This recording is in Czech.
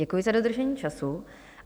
Děkuji za dodržení času.